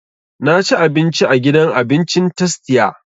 Na ci abinci a gidan abincin tastia